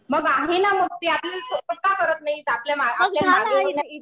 मग आहे ना. मग ते आपल्याला सपोर्ट का करत नाहीत. आपल्या मागे